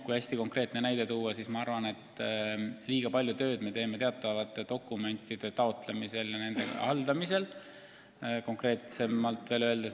Kui hästi konkreetne näide tuua, siis liiga palju tööd me teeme minu arvates siis, kui tegu on teatavate dokumentide taotlemise ja haldamisega.